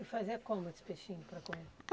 E fazia como esse peixinho para comer?